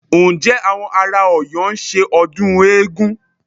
Ǹjẹ́ àwọn ará Ọ̀yọ́ ń ṣe ọdún eégún?